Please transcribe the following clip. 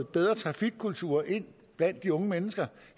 bedre trafikkultur ind blandt de unge mennesker